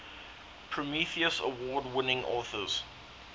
prometheus award winning authors